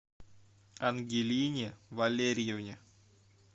ангелине валерьевне